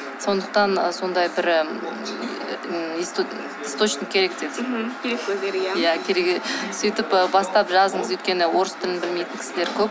сондықтан ы сондай бір ы источник керек деді иә сөйтіп бастап жазыңыз өйткені і орыс тілін білмейтін кісілер көп